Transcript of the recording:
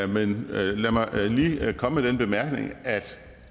men lad mig lige komme med den bemærkning at